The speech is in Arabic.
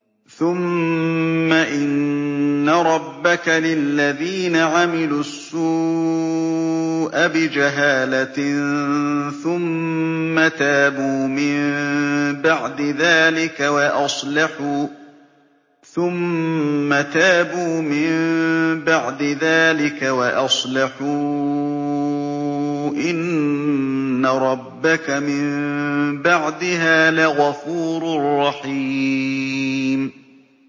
ثُمَّ إِنَّ رَبَّكَ لِلَّذِينَ عَمِلُوا السُّوءَ بِجَهَالَةٍ ثُمَّ تَابُوا مِن بَعْدِ ذَٰلِكَ وَأَصْلَحُوا إِنَّ رَبَّكَ مِن بَعْدِهَا لَغَفُورٌ رَّحِيمٌ